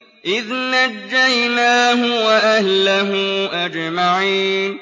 إِذْ نَجَّيْنَاهُ وَأَهْلَهُ أَجْمَعِينَ